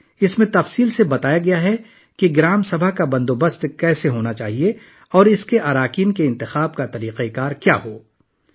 اس میں تفصیل سے بتایا گیا ہے کہ گرام سبھا کا انعقاد کیسے ہونا چاہیے اور اس کے اراکین کے انتخاب کا طریقہ کار کیا ہونا چاہیے